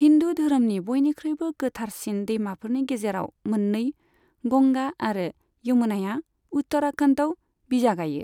हिन्दु धोरोमनि बयनिख्रुइबो गोथारसिन दैमाफोरनि गेजेराव मोननै, गंगा आरो यमुनाया, उत्तराखन्डआव बिजागायो।